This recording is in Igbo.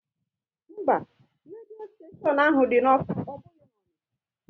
Mba, redio steshion ahụ dị n'Awka, ọ bụghị na Onicha